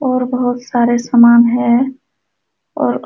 और बोहोत सारे सामान हैं और --